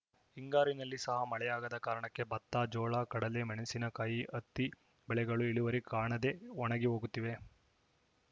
ಹಿಂಗಾರಿನಲ್ಲಿ ಸಹ ಮಳೆಯಾಗದ ಕಾರಣಕ್ಕೆ ಭತ್ತ ಜೋಳ ಕಡಲೆ ಮೆಣಸಿನ ಕಾಯಿ ಹತ್ತಿ ಬೆಳೆಗಳು ಇಳುವರಿ ಕಾಣದೇ ಒಣಗಿ ಹೋಗುತ್ತಿವೆ